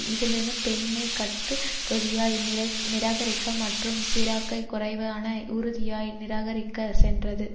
இது லு பென்னை கட்டுறுதியாய் நிராகரிக்க மற்றும் சிராக்கை குறைவான உறுதியாய் நிராகரிக்க சென்றது